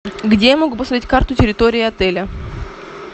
где я могу посмотреть карту территории отеля